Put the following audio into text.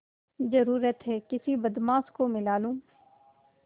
जरुरत हैं किसी बदमाश को मिला लूँ